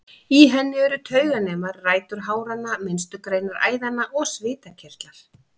Í henni eru tauganemar, rætur háranna, minnstu greinar æðanna og svitakirtlar.